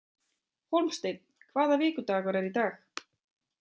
Hólmsteinn, hvaða vikudagur er í dag?